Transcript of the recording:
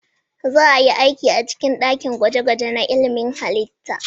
Za a yi aiki a cikin dakin gwaje-gwaje na ilmin halitta.